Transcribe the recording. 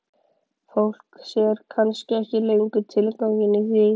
Fólk sér kannski ekki lengur tilganginn í því.